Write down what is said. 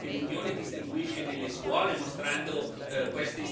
queste istituzioni come perfette, senza nessun problema.